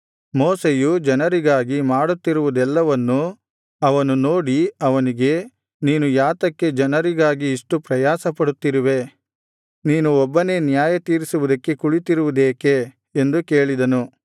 ಮೋಶೆಯು ಜನರಿಗಾಗಿ ಮಾಡುತ್ತಿರುವುದೆಲ್ಲವನ್ನು ಮಾವನು ನೋಡಿ ಅವನಿಗೆ ನೀನು ಯಾತಕ್ಕೆ ಜನರಿಗಾಗಿ ಇಷ್ಟು ಪ್ರಯಾಸ ಪಡುತ್ತಿರುವೆ ನೀನು ಒಬ್ಬನೇ ನ್ಯಾಯತೀರಿಸುವುದಕ್ಕೆ ಕುಳಿತಿರುವುದೇಕೆ ಎಂದು ಕೇಳಿದನು